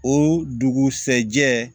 O dugusɛjɛ